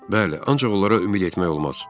Bəli, ancaq onlara ümid etmək olmaz.